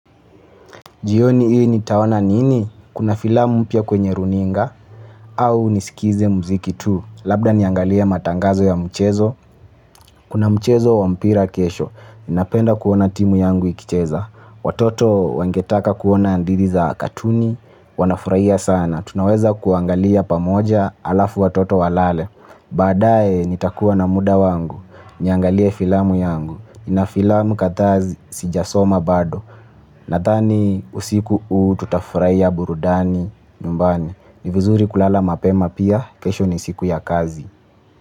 Jioni hii nitaona nini? Kuna filamu mpya kwenye runinga? Au niskize mziki tu? Labda niangalie matangazo ya mchezo? Kuna mchezo wa mpira kesho. Napenda kuona timu yangu ikicheza. Watoto wangetaka kuona hadithi za katuni. Wanafurahia sana. Tunaweza kuangalia pamoja alafu watoto walale. Baadaye nitakuwa na muda wangu. Niangalie filamu yangu. Nina filamu kadhaa sijasoma bado. Nadhani usiku huu tutafurahia burudani nyumbani. Ni vizuri kulala mapema pia, kesho ni siku ya kazi.